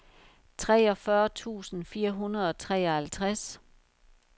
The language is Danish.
treogfyrre tusind fire hundrede og treoghalvtreds